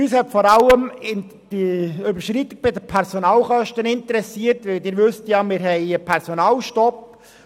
Uns hat vor allem die Überschreitung bei den Personalkosten interessiert, denn wir haben einen Personalstopp.